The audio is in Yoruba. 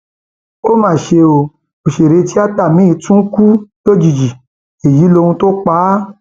ó mà ṣe um o òṣèré tíátà míín tún um kù lójijì èyí lohun tó pa á